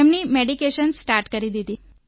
તેમની medication start કરી દીધું